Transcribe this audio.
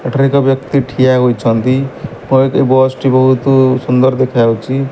ଏଠାରେ ଏକ ବ୍ୟକ୍ତି ଠିଆ ହୋଇଛନ୍ତି। ପେ ବସ ଟି ବୋହୁତୁ ସୁନ୍ଦର ଦେଖାଯାଉଚି।